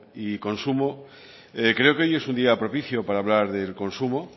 y consumo creo que hoy es un día propicio para hablar de consumo